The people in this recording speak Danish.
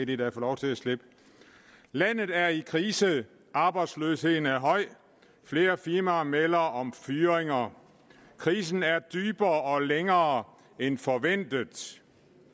de da få lov til at slippe landet er i krise arbejdsløsheden er høj flere firmaer melder om fyringer krisen er dybere og længere end forventet